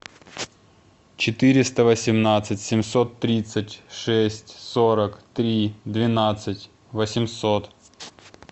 четыреста восемнадцать семьсот тридцать шесть сорок три двенадцать восемьсот